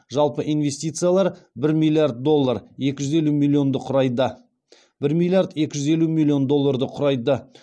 жалпы инвестициялар бір миллиард екі жүз елу миллион долларды құрайды